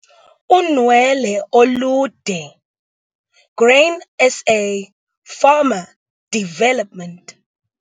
Unwele olude Grain SA Farmer Development!